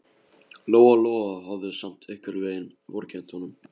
Lóa Lóa hafði samt einhvern veginn vorkennt honum.